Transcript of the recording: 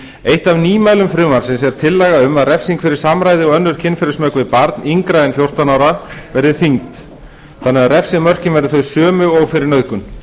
eitt af nýmælum frumvarpsins er tillaga um að refsing fyrir samræði og önnur kynferðismök við barn yngra en fjórtán ára verði þyngd þannig að refsimörkin verði þau sömu og fyrir nauðgun